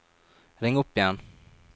ring opp igjen